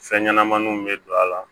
Fɛn ɲɛnɛmaninw bɛ don a la